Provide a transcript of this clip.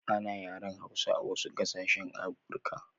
Ana yaren hausa a wasu gasashe a africa